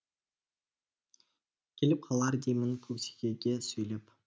келіп қалар деймін көк текеге сөйлеп